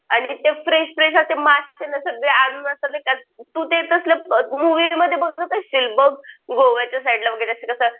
आणि ते fresh fresh असे मासे ना सगळे आणून असे तू ते कसलं मूवी मध्ये बघत असशील बघ गोव्याच्या साईडला वगैरे कसं असं